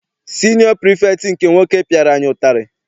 Siniọ pirifektị nke nwoke piara anyị ụtarị.